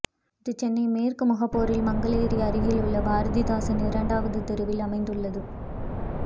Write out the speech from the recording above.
இது சென்னை மேற்கு முகப்பேரில் மங்கலேரி அருகேயுள்ள பாரதிதாசன் இரண்டாவது தெருவில் அமைந்துள்ளது